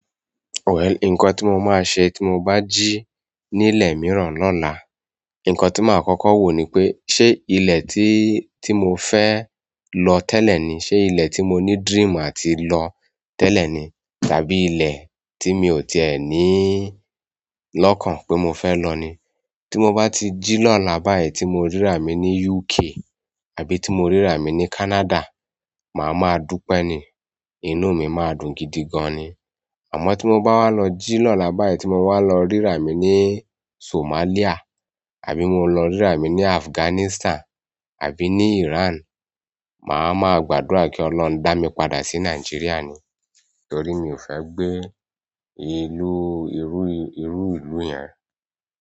Well, nǹkan tí mo máa ṣe tí mo bá jí nílẹ̀ mìíràn lọ́la, nǹkan tí màá kọ́kọ́ wò ni pé, ṣe ilẹ̀ tí, tí mo fẹ́ lọ tẹ́lẹ̀ ni? Ṣé ilẹ̀ tí mo ní dream àti lọ tẹ́lẹ̀ ni? Tàbí ilẹ̀ tí mi ò tiẹ̀ ní lọ́kàn pé mo fẹ́ lọ ni? Tí mo bá ti jí lọ́la báyìí tí mo rí ra mi ní UK àbí tí mo rí ra mi ní Canada, màá ma dúpẹ́ ni. Inú mi máa ń dùn gidi gan ni. Àmọ́ tí mo bá wá lọ jí lọ́la báyìí, tí mo wá lọ rí ara mi ní Somalia. Àbí mo lọ rí ra mi ní Afghanistan àbí ní Iran, màá ma gbàdúrà kí Ọlọ́run dá mi padà sí Nàìjíríà ni. Nítorí mi ò fẹ́ gbé ìlú, irú, irú ìlú yẹn.